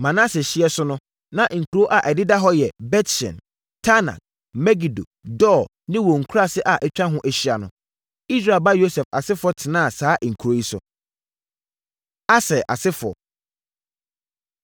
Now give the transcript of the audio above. Manase hyeɛ so no, na nkuro a ɛdeda hɔ yɛ Bet-Sean, Taanak, Megido, Dor ne wɔn nkuraase a atwa ho ahyia no. Israel ba Yosef asefoɔ tenaa saa nkuro yi so. Aser Asefoɔ